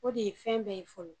O de ye fɛn bɛɛ ye fɔlɔ